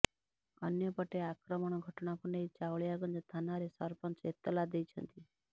ଅନ୍ୟପଟେ ଆକ୍ରମଣ ଘଟଣାକୁ ନେଇ ଚାଉଳିଆଗଞ୍ଜ ଥାନାରେ ସରପଞ୍ଚ ଏତଲା ଦେଇଛନ୍ତି